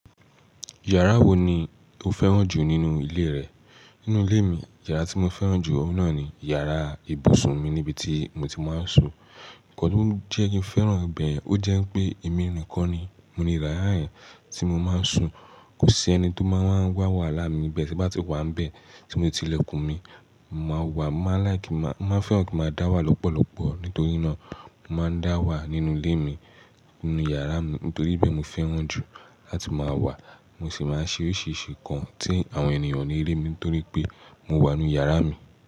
Yàrá wo ni o fẹ́ràn jù nínú ilé rẹ? Nínú ilé mi, yàrá tí mo fẹ́ràn jù oun náà ni yàrá ibùsùn mi níbi tí mo ti máa ń sùn. Nkànntí ó jẹ́ kí n fẹ́ràn ibẹ̀, ó jẹ́ pé èmi nìkan ni mo ni yara tí mo máa ń sùn. Kò sí ẹni tó máa wa n wà wàhálà mi ibẹ̀ tí bá ti wà n bẹ́ẹ̀ tí mo ti ilẹ̀kùn mi. Mo máa n wà, mo máa n like ki maa, mo máa n fẹ́ràn kíi máa dá wà lọ́pọ̀lọpọ̀. Nítorí náà, mo máa ń dá wà nínú ilé mi, nínú yàrá mi. Nítorí ibẹ̀ mo fẹ́ràn jù láti máa wà. Mo sì máa ń ṣe oríṣìíríṣìí nǹkan tí àwọn ènìyàn o ni rí mi torí pé mo wà nínú yàrá mi.